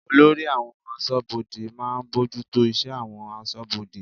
Olórí àwọn aṣọ́bodè máa ń bójútó iṣẹ́ àwọn aṣọ́bodè.